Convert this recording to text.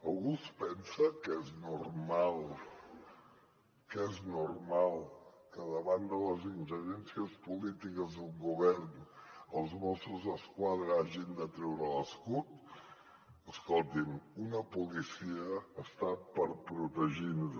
algú es pensa que és normal que és normal que davant de les ingerències polítiques d’un govern els mossos d’esquadra hagin de treure l’escut escolti’m una policia hi és per protegir nos